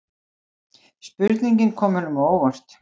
Spurningin kom honum á óvart.